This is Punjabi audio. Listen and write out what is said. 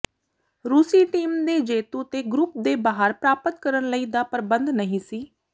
ਰੂਸੀ ਟੀਮ ਦੇ ਜੇਤੂ ਤੇ ਗਰੁੱਪ ਦੇ ਬਾਹਰ ਪ੍ਰਾਪਤ ਕਰਨ ਲਈ ਦਾ ਪਰਬੰਧ ਨਹੀ ਸੀ